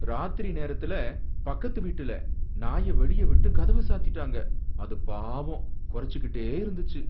ராத்திரி நேரத்துல பக்கத்துக்கு வீட்டுல நாய வெளிய விட்டு கதவ சாத்திட்டாங்க, அது பாவம் குரைச்சிக்கிட்டே இருந்துச்சு.